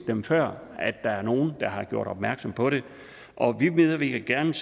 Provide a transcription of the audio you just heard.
før at der er nogen der har gjort opmærksom på det og vi medvirker gerne